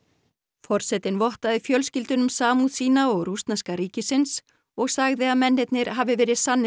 forsetinn vottaði fjölskyldunum samúð sína og rússneska ríkins og sagði að mennirnir hafi verið sannir